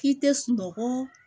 K'i tɛ sunɔgɔ